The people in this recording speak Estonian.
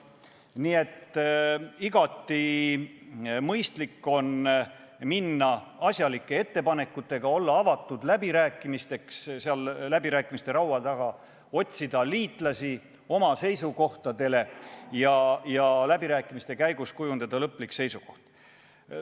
Nii et igati mõistlik on minna läbirääkimiste laua taha asjalike ettepanekutega, olla seal läbirääkimistele avatud, otsida oma seisukohtadele liitlasi ja läbirääkimiste käigus kujundada lõplik seisukoht.